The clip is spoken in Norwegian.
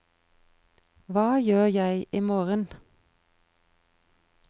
hva gjør jeg imorgen